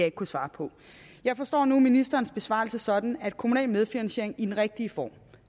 ikke kunne svare på jeg forstår nu ministerens besvarelse sådan at kommunal medfinansiering i den rigtige form